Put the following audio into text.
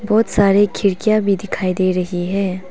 बहुत सारी खिड़कियां भी दिखाई दे रही हैं।